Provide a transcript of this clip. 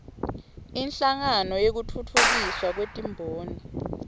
inhlangano yekutfutfukiswa kwetimboni